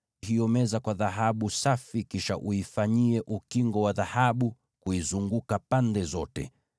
Ifunike kwa dhahabu safi, na kuitengenezea ukingo wa dhahabu kuizunguka pande zote.